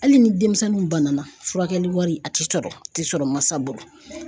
Hali ni denmisɛnninw bana na furakɛli wari a ti sɔrɔ a ti sɔrɔ mansa bolo.